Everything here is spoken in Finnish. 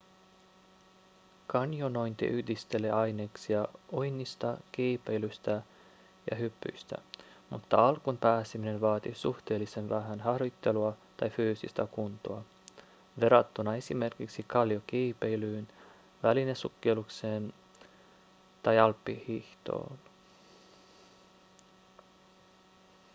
kanjonointi yhdistelee aineksia uinnista kiipeilystä ja hypyistä mutta alkuun pääseminen vaatii suhteellisen vähän harjoittelua tai fyysistä kuntoa verrattuna esimerkiksi kalliokiipeilyyn välinesukellukseen tai alppihiihtoon